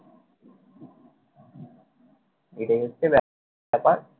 এটাই হচ্ছে ব্যাপার।